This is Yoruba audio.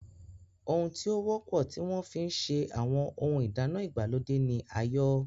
Ohun tí ó wọ́pọ̀ tí wọ́n fi ń se àwọn ohun ìdáná ìgbàlódé ni ayọ́.